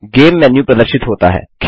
game menu प्रदर्शित होता है